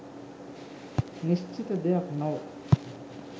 නිශ්චිත දෙයක් නොව